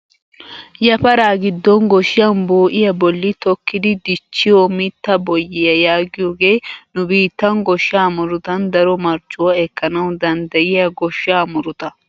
yafaraa giddon gooshshan bo"iyaa bolli tokkidi dichchiyoo mitta boyyiyaa yaagiyooge nu biittan gooshshaa murutan daro marccuwaa ekkanawu danddiyiyaa goshshaa muruta!